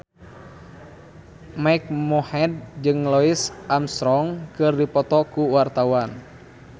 Mike Mohede jeung Louis Armstrong keur dipoto ku wartawan